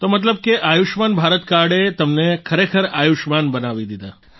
તો મતલબ કે આયુષ્યમાન ભારત કાર્ડે તમને ખરેખર આયુષ્યમાન બનાવી દીધા